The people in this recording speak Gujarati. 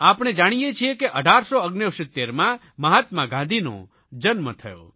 આપણે જાણીએ છીએ 1869માં મહાત્મા ગાંધીનો જન્મ થયો